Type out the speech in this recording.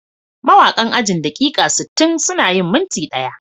Mawakan ajin "daƙiƙa sittin suna yin minti ɗaya"